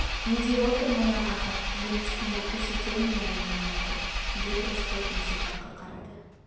не деп отыр мына ахат жем түскенді көрсетермін әлі мен оларға деп рысқұл есік жаққа қарады